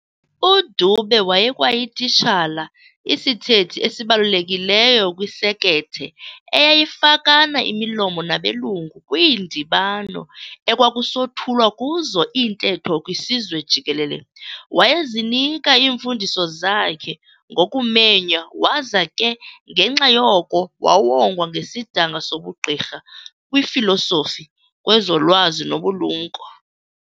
UDube wayekwayititshala, isithethi esibalulekileyo kwisekethe eyayifakana imilomo nabelungu kwiindibano ekwakusothulwa kuzo iintetho kwisizwe jikelele. Wayezinika iimfundiso zakhe ngokumenya waza ke ngenxa yoko wawongwa ngesidanga sobugqirha kwifilosofi, kwezolwazi nobulumko.